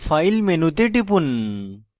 file মেনুতে টিপুন